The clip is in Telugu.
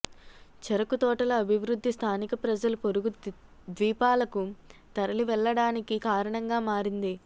చెరకు తోటల అభివృద్ధి స్థానిక ప్రజలు పొరుగు ద్వీపాలకు తరలివెళ్ళడానికి కారణంగా మారింది